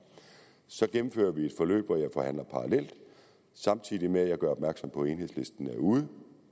så gennemfører vi et forløb hvor jeg forhandler parallelt samtidig med at jeg gør opmærksom på at enhedslisten er ude